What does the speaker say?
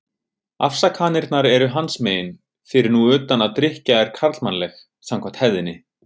Afsakanirnar eru hans megin, fyrir nú utan að drykkja er karlmannleg, samkvæmt hefðinni.